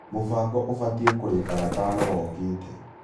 Mũbango ũbatie kũrĩka gatano gokĩte